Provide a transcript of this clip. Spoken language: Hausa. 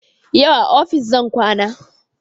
Yau a ofis zan kwana